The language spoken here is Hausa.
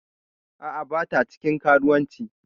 A'a bata cikin karuwanci.